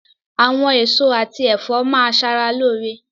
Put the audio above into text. Àwọn èso àti ẹ̀fọ́ máa ṣe ara lóore.